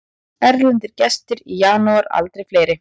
Erlendir gestir í janúar aldrei fleiri